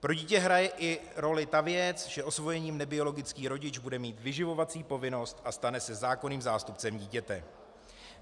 Pro dítě hraje roli i ta věc, že osvojený nebiologický rodič bude mít vyživovací povinnost a stane se zákonným zástupcem dítěte.